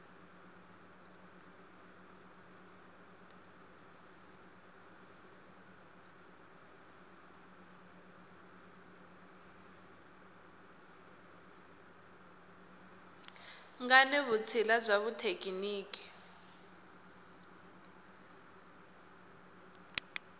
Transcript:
nga ni vutshila bya xithekiniki